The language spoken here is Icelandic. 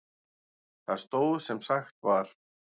Það stóð sem sagt var.